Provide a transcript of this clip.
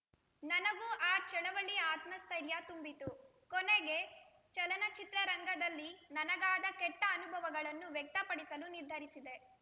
ನನಗೂ ಆ ಚಳವಳಿ ಆತ್ಮಸ್ಥೈರ್ಯ ತುಂಬಿತು ಕೊನೆಗೆ ಚಲನಚಿತ್ರರಂಗದಲ್ಲಿ ನನಗಾದ ಕೆಟ್ಟಅನುಭವಗಳನ್ನು ವ್ಯಕ್ತಪಡಿಸಲು ನಿರ್ಧರಿಸಿದೆ